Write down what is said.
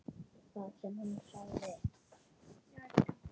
Það sem hún sagði